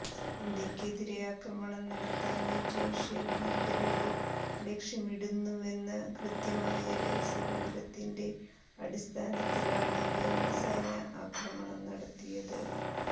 ഇന്ത്യക്കെതിരെ ആക്രമണം നടത്താന് ജെയ്ഷെ ഭീകരര് ലക്ഷ്യമിടുന്നുവെന്ന കൃത്യമായ രഹസ്യവിവരത്തിന്റെ അടിസ്ഥാനത്തിലാണ് വ്യോമസേന ആക്രമണം നടത്തിയത്